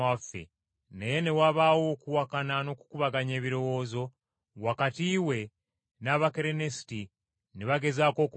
Naye ne wabaawo okuwakana n’okukubaganya ebirowoozo wakati we n’Abakerenisiti, ne bagezaako okumutta.